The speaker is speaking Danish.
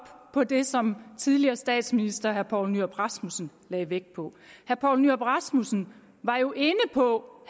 på det som tidligere statsminister herre poul nyrup rasmussen lagde vægt på herre poul nyrup rasmussen var jo inde på